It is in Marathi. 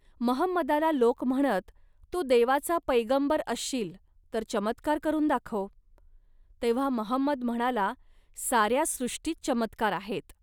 महंमदाला लोक म्हणत, "तू देवाचा पैगंबर असशील, तर चमत्कार करून दाखव. तेव्हा महंमद म्हणाला, "साऱ्या सृष्टीत चमत्कार आहेत